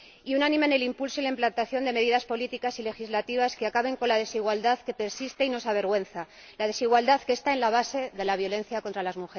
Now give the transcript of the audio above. y unánime en el impulso y la implantación de medidas políticas y legislativas que acaben con la desigualdad que persiste y nos avergüenza, la desigualdad que está en la base de la violencia contra las